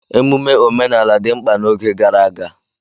Ememe omenala dị mkpa n'oge gara aga.